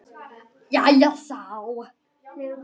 Jæja já?